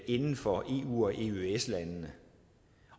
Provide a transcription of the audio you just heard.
inden for eu og eøs landene